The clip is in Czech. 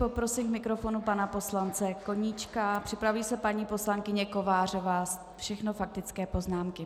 Poprosím k mikrofonu pana poslance Koníčka, připraví se paní poslankyně Kovářová, všechno faktické poznámky.